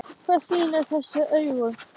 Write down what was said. Hvað skýrir þessa aukningu?